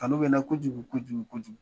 Kanu bɛ n na kojugu kojugu kojugu.